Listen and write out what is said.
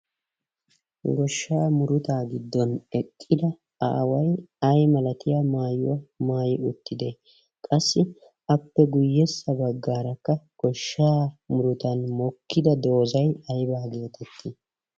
Goshshaa murutaa giddon eqqida aaway ay malatiya maayuwaa maayi uttide? Qassi appe guyyessa baggaarakka goshshaa murutan mokkida doozay aybaa getettii?